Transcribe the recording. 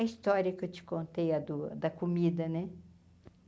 A história que eu te contei a do a da comida, né?